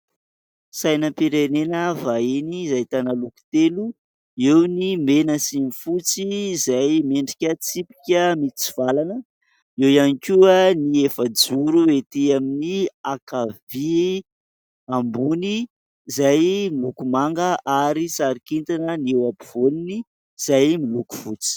Sainam-pirenena vahiny ahitana loko telo : eo ny mena sy ny fotsy izay miendrika tsipika mitsivalana, eo ihany koa ny efa-joro ety amin'ny ankavia ambony izay miloko manga ary sary kintana ny eo ampovoany izay miloko fotsy.